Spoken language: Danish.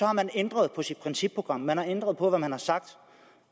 har man ændret på sit principprogram man har ændret på hvad man har sagt